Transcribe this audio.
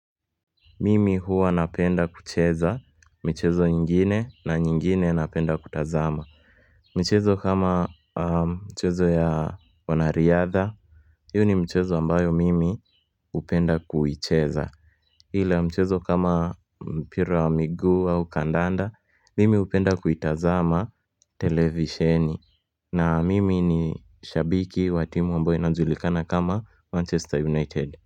Mimi huwa napenda kucheza michezo nyingine na nyingine napenda kutazama. Michezo kama michezo ya wanariadha. Hiyo ni mchezo ambayo mimi hupenda kuicheza. Ila mchezo kama mpira wa miguu au kandanda, mimi hupenda kuitazama televisheni. Na mimi ni shabiki wa timu ambayo inajulikana kama Manchester United.